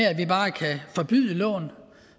at vi bare kan forbyde lån og